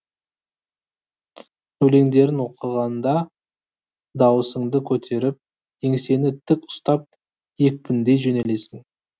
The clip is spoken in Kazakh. өлеңдерін оқығанда дауысыңды көтеріп еңсені тік ұстап екпіндей жөнелесің